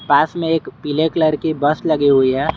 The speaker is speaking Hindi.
पास में एक पीले कलर की बस लगी हुई है।